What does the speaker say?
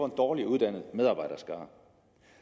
dårligere uddannet medarbejderskare